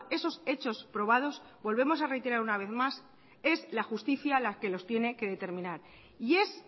esos hechos probados volvemos a reiterar una vez más es la justicia las que los tiene que determinar y es